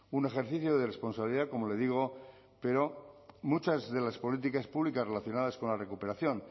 un ejercicio de responsabilidad como le digo pero muchas de las políticas públicas relacionadas con la recuperación